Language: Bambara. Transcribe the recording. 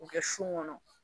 K'o kɛ son kɔnɔ